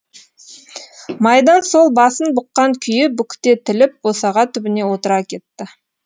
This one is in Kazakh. майдан сол басын бұққан күйі бүктетіліп босаға түбіне отыра кетті